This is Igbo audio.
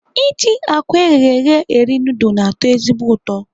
Iji àkwá eghere eghe eri nudul na-atọ ezigbo ụtọ.